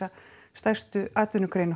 stærstu atvinnugrein